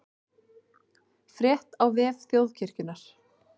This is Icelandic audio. Frétt á vef Þjóðkirkjunnar